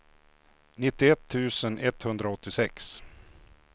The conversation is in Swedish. nittioett tusen etthundraåttiosex